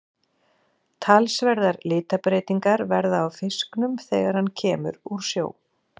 Talsverðar litabreytingar verða á fisknum þegar hann kemur úr sjó.